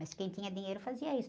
Mas quem tinha dinheiro fazia isso.